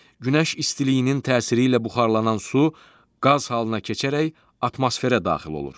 Günəş istiliyinin təsiri ilə buxarlanan su qaz halına keçərək atmosferə daxil olur.